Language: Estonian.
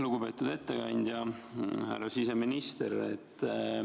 Lugupeetud ettekandja, härra siseminister!